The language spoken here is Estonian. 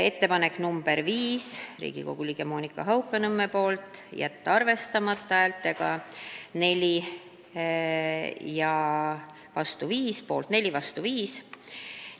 Ettepanek nr 5 oli ka Riigikogu liikmelt Monika Haukanõmmelt, jäi arvestamata: poolt 4, vastu 5.